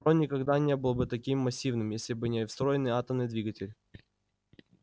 трон никогда не был бы таким массивным если бы не встроенный атомный двигатель